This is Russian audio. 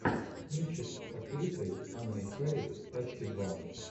кинчик с актрисой анной фэрис тачки два